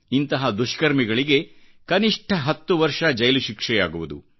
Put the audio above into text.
ಇಂತಹ ದುಷ್ಕರ್ಮಿಗಳಿಗೆ ಕನಿಷ್ಠ ಹತ್ತು ವರ್ಷಗಳ ಜೈಲು ಶಿಕ್ಷೆಯಾಗುವುದು